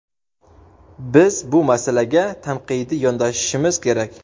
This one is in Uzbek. Biz bu masalaga tanqidiy yondashishimiz kerak.